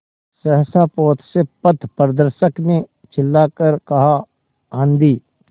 सहसा पोत से पथप्रदर्शक ने चिल्लाकर कहा आँधी